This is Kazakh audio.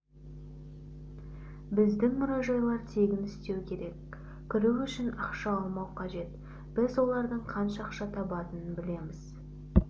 біздің мұражайлар тегін істеу керек кіру үшін ақша алмау қажет біз олардың қанша ақша табатынын білеміз